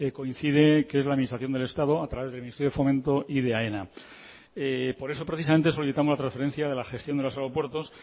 coincide que es la administración del estado a través del ministerio de fomento y de aena por eso precisamente solicitamos la transferencia de la gestión de los aeropuertos